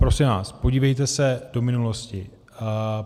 Prosím vás podívejte se do minulosti.